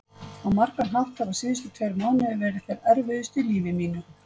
Á margan hátt hafa síðustu tveir mánuðir verið þeir erfiðustu í mínu lífi.